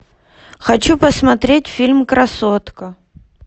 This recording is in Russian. хочу посмотреть фильм красотка